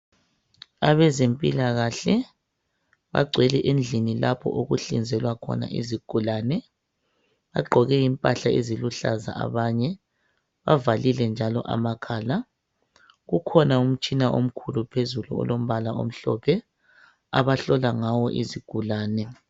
Abezempilakahle bagcwele endlini lapho okuhlinzelwa khona izigulane. Bagqoke impahla eziluhlaza abanye ,bavalile njalo amakhala .Kukhona umtshina omkhulu phezulu olombala omhlophe abahlola ngawo izigulane.